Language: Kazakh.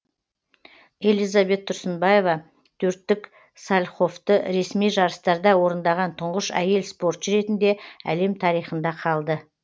элизабет тұрсынбаева төрттік сальховты ресми жарыстарда орындаған тұңғыш әйел спортшы ретінде әлем тарихында қалды